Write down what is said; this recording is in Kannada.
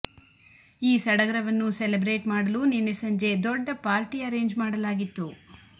ಈ ಸಡಗರವನ್ನು ಸೆಲೆಬ್ರೇಟ್ ಮಾಡಲು ನಿನ್ನೆ ಸಂಜೆ ದೊಡ್ಡ ಪಾರ್ಟಿ ಅರೇಂಜ್ ಮಾಡಲಾಗಿತ್ತು